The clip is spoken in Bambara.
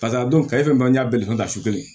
Paseke a don ka ye fɛn min n'an y'a bɛɛ dɔn su kelen ye